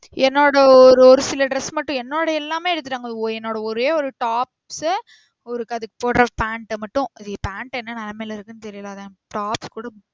என்னோட ஒரு ஒரு சில dress மட்டும் என்னோட எல்லாமே எடுத்துட்டாங்க ஒரே ஒரு tops சு ஒரு போடுற பேன்ட் மட்டும் பெண்டு என்ன நிலமையில இருக்குனு தெரியல அத tops கூட